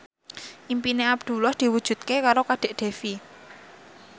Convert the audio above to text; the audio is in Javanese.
impine Abdullah diwujudke karo Kadek Devi